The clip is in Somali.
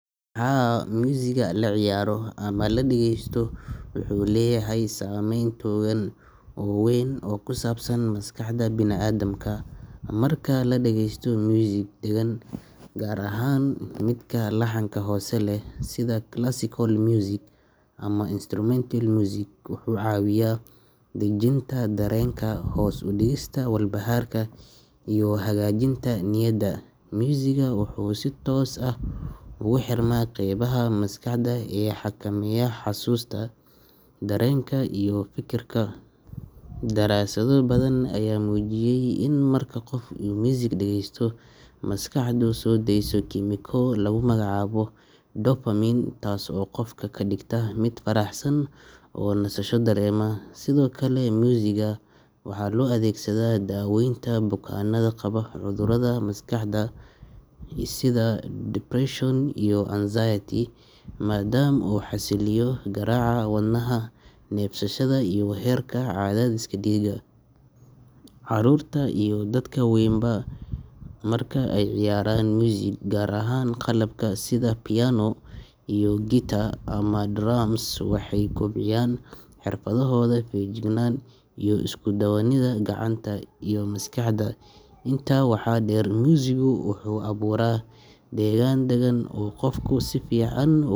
Haa, muusigga la ciyaaro ama la dhegeysto wuxuu leeyahay saameyn togan oo weyn oo ku saabsan maskaxda bini’aadamka. Marka la dhageysto muusig deggan, gaar ahaan midka laxanka hoose leh sida classical music ama instrumental music, wuxuu caawiyaa dejinta dareenka, hoos u dhigista walbahaarka, iyo hagaajinta niyadda. Muusiggu wuxuu si toos ah ugu xirmaa qaybaha maskaxda ee xakameeya xusuusta, dareenka, iyo fekerka. Daraasado badan ayaa muujiyay in marka qof uu muusig dhegeysto, maskaxdu soo deyso kiimiko lagu magacaabo dopamine taas oo qofka ka dhigta mid faraxsan oo nasasho dareema. Sidoo kale, muusigga waxaa loo adeegsadaa daawaynta bukaannada qaba cudurrada maskaxda sida depression iyo anxiety maadaama uu xasiliyo garaaca wadnaha, neefsashada iyo heerka cadaadiska dhiigga. Caruurta iyo dadka waaweynba marka ay ciyaarayaan muusig, gaar ahaan qalabka s.ida piano, guitar, ama drums, waxay kobciyaan xirfadahooda feejignaanta iyo isku-duwidda gacanta iyo maskaxda. Intaa waxaa dheer, muusiggu wuxuu abuuraa degaan dagan oo qofku si fiican